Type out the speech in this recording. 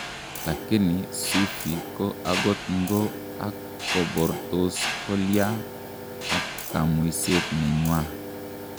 Lakini Sufii ko agot ng'o ak kobortos kolya ak kamuiset nenywa?